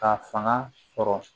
Ka fanga sɔrɔ